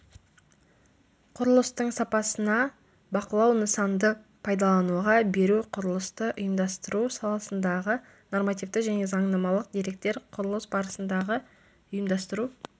құрылыстың сапасына бақылау нысанды пайдалануға беру құрылысты ұйымдастыру саласындағы нормативтік және заңнамалық деректер құрылыс барысындағы ұйымдастыру